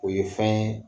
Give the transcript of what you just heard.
O ye fɛn ye